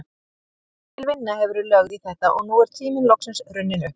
Mikil vinna hefur verið lögð í þetta og nú er tíminn loksins runninn upp.